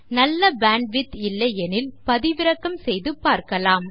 நல்ல பேண்ட்விட்த் இல்லையெனில் பதிவிறக்கம் செய்தும் பார்க்கலாம்